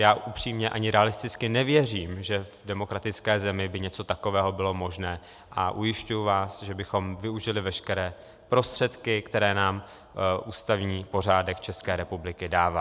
Já upřímně ani realisticky nevěřím, že v demokratické zemi by něco takové bylo možné, a ujišťuji vás, že bychom využili veškeré prostředky, které nám ústavní pořádek České republiky dává.